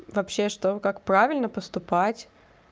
вообще что как правильно поступать